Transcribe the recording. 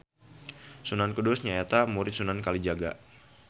Sunan Kudus nya eta murid Sunan Kalijaga.